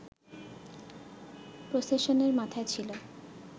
প্রসেশনের মাথায় ছিল